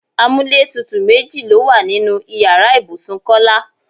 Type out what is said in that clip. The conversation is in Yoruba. Amúlétutù méjì ló wà nínú ìyára ibùsùn Kọ́lá.